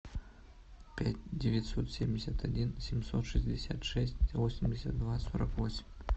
пять девятьсот семьдесят один семьсот шестьдесят шесть восемьдесят два сорок восемь